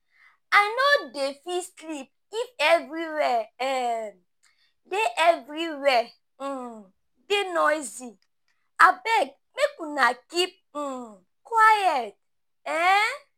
I no dey fit sleep if everywhere um dey everywhere um dey noisy, abeg make una keep um quiet um.